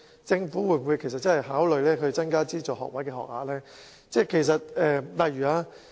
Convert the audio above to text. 政府會否認真考慮增加資助學位學額？